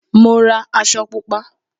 Mo ra aṣọ Pupa